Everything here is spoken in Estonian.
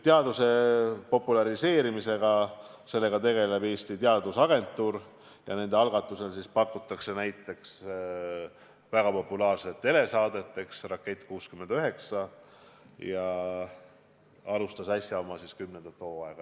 Teaduse populariseerimisega tegeleb Eesti Teadusagentuur ja nende algatusel tehakse näiteks populaarset telesaadet "Rakett 69", mis äsja alustas oma kümnendat hooaega.